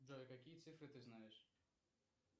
джой какие цифры ты знаешь